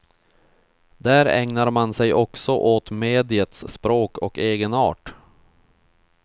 Där ägnar man sig också åt mediets språk och egenart.